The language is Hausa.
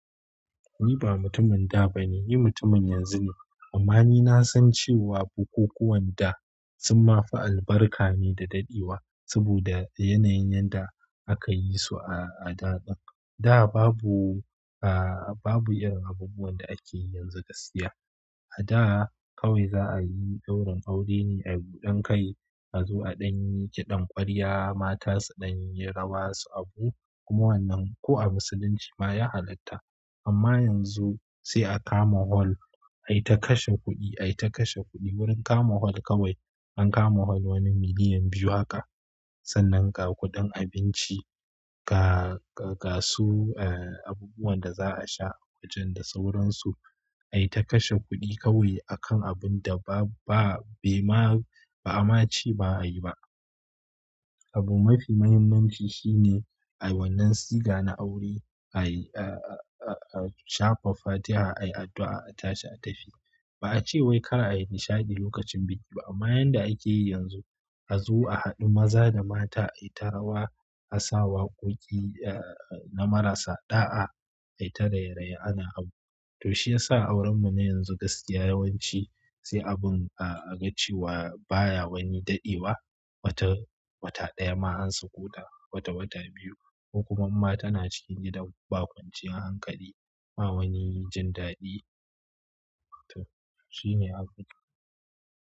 Ni ba mutumin da bane, ni mutumin yanzu ne. Amma ni na san cewa bukukuwan da sun ma fi albarka ne da dadewa saboda yanayin yadda aka yi su a, a da. Da babu, ah, babu irin abubuwan da ake yi yanzu gaskiya. A da kawai za a yi daurin aure ne a gudan kai, a zo a ɗanyi kiɗan ƙwarya, mata su ɗanyi rawa su abu. Kuma wannan ko a musulunci ma ya halatta. Amma yanzu sai a kama hol ai ta kashe kuɗi, ai ta kashe kuɗi. Wurin kama hol kawai an kama hol wani miliyan biyu haka. Sannan ga kuɗin abinci, ga, ga, ga su, eh, abubuwan da za a sha wajen da sauransu ai ta kashe kuɗi kawai a kan abun da ba, ba, bai ma, ba'a ma ci ba a yi ba. Abu mafi muhimmanci shine ai wannan siga na aure ai, ah, ah, ah, shafa fatiha ai addu'a a tashi a tafi. Ba a ce wai kar a yi nishaɗi lokacin biki ba. Amma yanda ake yi yanzu, a zo a haɗu maza da mata ai ta rawa, a sa waƙoƙi, eh, na marasa ɗa'a ai ta raye-raye ana abu. To shi ya sa aurenmu na yanzu gaskiya yawanci sai abun a, a ga cewa baya wani dadewa. Wata, wata ɗaya ma an sakotq, wata, wata biyu. Kokuma inma tana cikin gidan baƙunci a hankali. Bawani jindadi to shine abun.